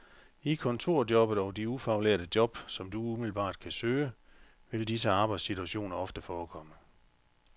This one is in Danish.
I kontorjobbet og de ufaglærte job, som du umiddelbart kan søge, vil disse arbejdssituationer ofte forekomme.